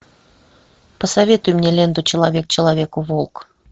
посоветуй мне ленту человек человеку волк